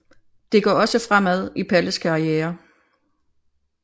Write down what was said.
Det går også fremad i Palles karriere